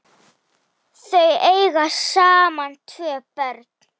Þau eiga saman tvö börn.